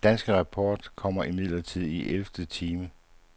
Den danske rapport kommer imidlertid i elvte time.